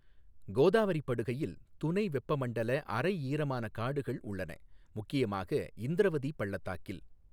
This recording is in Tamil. கோதாவரி படுகையில் துணை வெப்பமண்டல அரை ஈரமான காடுகள் உள்ளன முக்கியமாக இந்திரவதி பள்ளத்தாக்கில்.